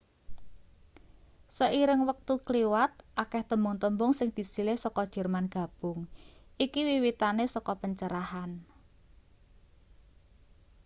seiring wektu kliwat akeh tembung-tembung sing disilih saka jerman gabung iki wiwitane saka pencerahan